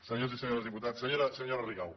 senyors i senyores diputats senyora rigau